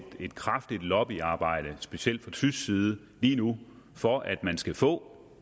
et kraftigt lobbyarbejde specielt fra tysk side lige nu for at man skal få